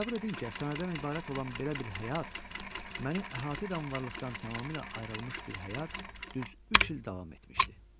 Təsəvvür edin ki, əfsanədən ibarət olan belə bir həyat, məni əhatə edən varlıqdan tamamilə ayrılmış bir həyat düz üç il davam etmişdi.